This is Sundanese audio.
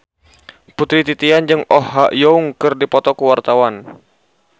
Putri Titian jeung Oh Ha Young keur dipoto ku wartawan